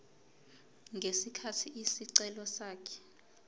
ngesikhathi isicelo sakhe